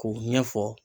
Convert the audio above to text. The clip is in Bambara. K'u ɲɛfɔ